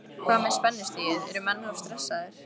Hvað með spennustigið, eru menn of stressaðir?